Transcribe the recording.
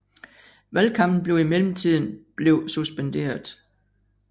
Valgkampen blev i mellemtiden blev suspenderet